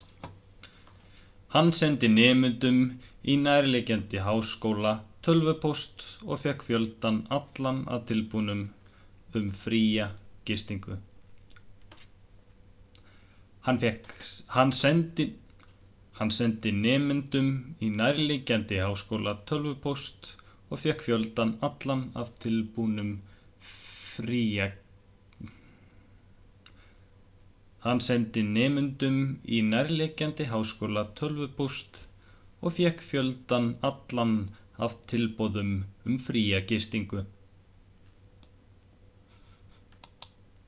hann sendi nemendum í nærliggjandi háskóla tölvupóst og fékk fjöldann allan af tilboðum um fría gistingu